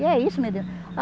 E é isso, meu Deus.